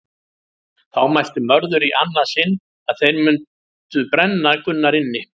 Þá mælti Mörður í annað sinn að þeir mundi brenna Gunnar inni.